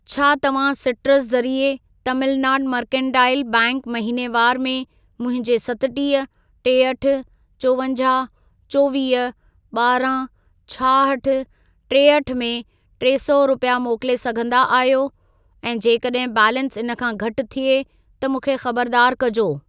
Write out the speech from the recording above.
छा तव्हां सिट्रस ज़रिए तमिलनाड मर्केंटाइल बैंक महीनेवारु में मुंहिंजे सतटीह, टेहठि, चोवंजाहु, चोवीह, ॿारहं, छाहठि, टेहठि में टे सौ रुपिया मोकिले सघंदा आहियो ऐं जेकॾहिं बैलेंस इन खां घटि थिए त मूंखे खबरदार कजो।